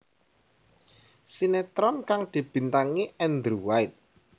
Sinetron kang dibintangi Andrew White